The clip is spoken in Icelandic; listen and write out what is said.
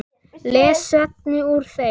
les Svenni úr þeim.